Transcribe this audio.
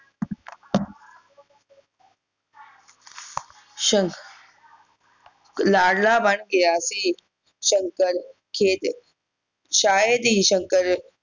ਲਾਡਲਾ ਬਣ ਗਿਆ ਸੀ ਸ਼ੰਕਰ ਖੇਡ ਸ਼ਾਇਦ ਹੀ ਸ਼ੰਕਰ